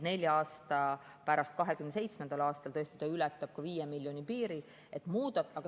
Nelja aasta pärast, 2027. aastal ületab see 5 miljoni piiri.